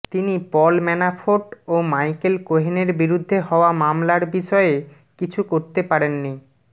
তিনি Paul Manafort ও Michael কোহেনের বিরুদ্ধে হওয়া মামলার বিষয়ে কিছু করতে পারেননি